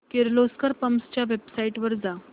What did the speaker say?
Kirloskar pumps च्या website वर जा